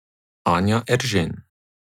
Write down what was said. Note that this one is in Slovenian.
Anja Eržen.